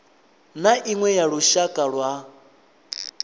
na iṅwe ya lushaka lwa